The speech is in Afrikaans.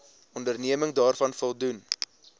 onderneming daaraan voldoen